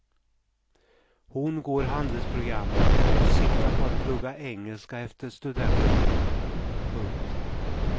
Hon går handelsprogrammet och siktar på att plugga engelska efter studenten. punkt